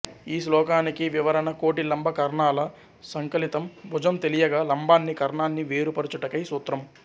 ఈ శ్లోకానికి వివరణ కోటి లంబ కర్ణాల సంకలితం భుజం తెలియగా లంబాన్ని కర్ణాన్ని వేరు పరచుటకై సూత్రం